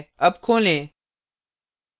अब खोलें